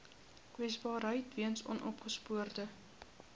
kwesbaarheid weens onopgespoorde